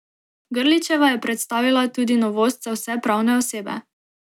Grlićeva je predstavila tudi novost za vse pravne osebe.